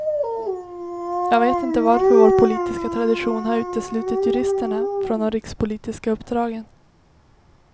Jag vet inte varför vår politiska tradition har uteslutit juristerna från de rikspolitiska uppdragen.